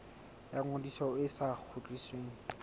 ya ngodiso e sa kgutlisweng